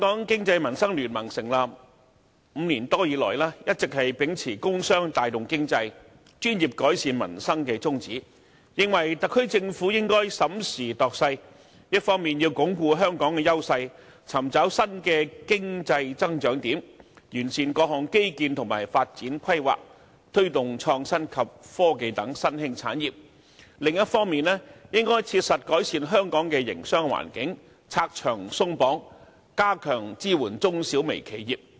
經民聯成立5年多以來，一直秉持"工商帶動經濟、專業改善民生"的宗旨，認為特區政府應審時度勢，一方面要鞏固香港的優勢，尋找新的經濟增長點，完善各項基建和發展規劃，推動創新及科技等新興產業；另一方面，應切實改善香港的營商環境，拆牆鬆綁，加強支援中小微企業。